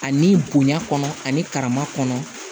Ani bonya kɔnɔ ani karama kɔnɔ